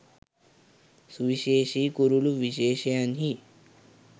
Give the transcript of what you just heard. සුවිශේෂි කුරුළු විශේෂයන්හි